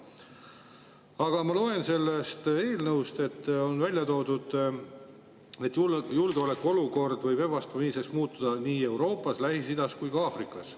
Aga ma loen, kus on välja toodud, et julgeolekuolukord võib ebastabiilseks muutuda nii Euroopas, Lähis-Idas kui ka Aafrikas.